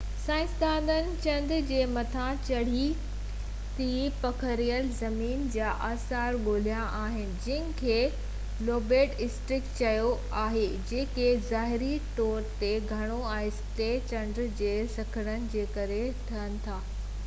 سائنسدانن چنڊ جي مٿاڇري تي پکڙيل زمين جا آثار ڳولهيا آهن جنهن کي لوبيٽ اسڪريپس چئبو آهي جيڪي ظاهري طو تي گهڻو آهستي چنڊ جي سڪڙڻ جي ڪري ٺهن ٿا